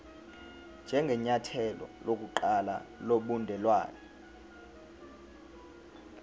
njengenyathelo lokuqala lobudelwane